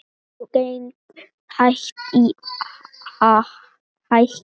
Jú, gengið hættir að hækka.